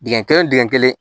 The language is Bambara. Dingɛ kelen dingɛ kelen